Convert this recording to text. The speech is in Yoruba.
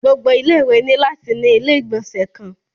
Gbogbo ilé ìwé ni lati ni ilé igbọnsẹ kan.